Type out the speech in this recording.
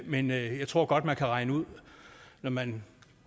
men jeg tror godt muligt at regne ud at når man